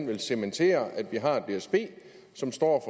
vil cementere at vi har dsb som står